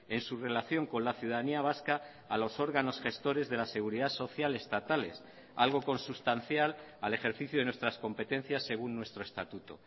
en su relación con la ciudadanía vasca a los órganos gestores de la seguridad social estatales algo consustancial al ejercicio de nuestras competencias según nuestro estatuto